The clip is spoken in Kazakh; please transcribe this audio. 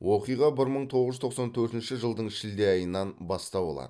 оқиға бір мың тоғыз жүз тоқсан төртінші жылдың шілде айынан бастау алады